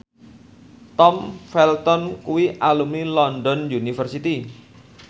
Tom Felton kuwi alumni London University